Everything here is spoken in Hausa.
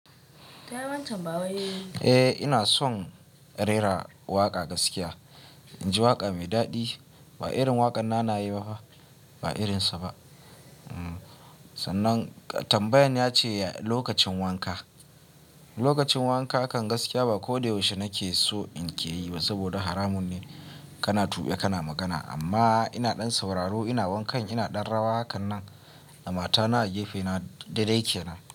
Eh ina son rera waƙa gaskiya. In ji waƙa mai daɗi ba irin waƙan nanaye ba fa, ba irinsa ba. Sannan tambayan ya ce lokacin wanka. Lokacin wanka kan gaskiya ba ko da yaushe nake so in ke yi ba saboda haramun ne kana tuɓe kana magana. Amma ina ɗan sauraro ina wankan ina ɗan rawa hakanan da matana a gefe na daidai kenan.